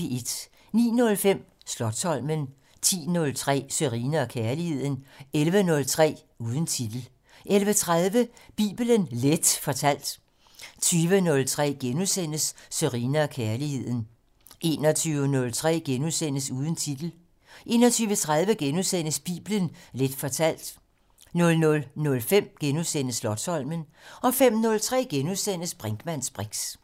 09:05: Slotsholmen 10:03: Sørine & Kærligheden 11:03: Uden titel 11:30: Bibelen Leth fortalt 20:03: Sørine & Kærligheden * 21:03: Uden titel * 21:30: Bibelen Leth fortalt * 00:05: Slotsholmen * 05:03: Brinkmanns briks *